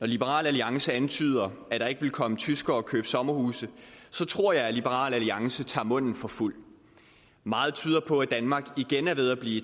liberal alliance antyder at der ikke vil komme tyskere og købe sommerhuse tror jeg at liberal alliance tager munden for fuld meget tyder på at danmark igen er ved at blive